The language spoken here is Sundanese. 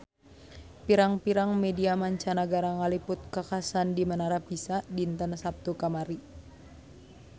Pirang-pirang media mancanagara ngaliput kakhasan di Menara Pisa dinten Saptu kamari